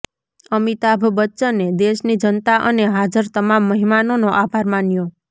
અમિતાભ બચ્ચને દેશની જનતા અને હાજર તમામ મહેમાનોનો આભાર માન્યો